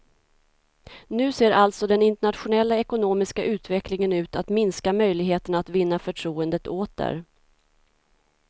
Nu ser alltså den internationella ekonomiska utvecklingen ut att minska möjligheterna att vinna förtroendet åter.